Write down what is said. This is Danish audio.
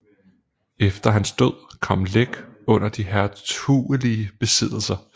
Efter hans død kom Læk under de hertugelige besiddelser